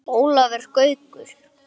Ólafur Gaukur